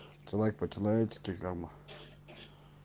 ты лайк по человечески как бы